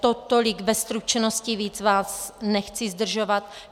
Tolik ve stručnosti, víc vás nechci zdržovat.